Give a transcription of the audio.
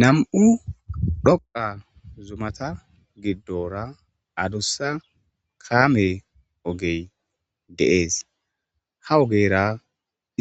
Nam7u dhoqa zumata giddora adussa kaamey ogey deees ha ogeyra